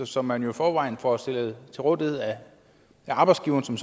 som man jo i forvejen får stillet til rådighed af arbejdsgiveren som